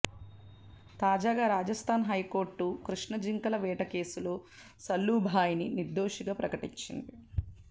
తాజాగా రాజస్థాన్ హైకోర్టు కృష్ణ జింకల వేట కేసులో సల్లూ భాయ్ ని నిర్దోషిగా ప్రకటించింది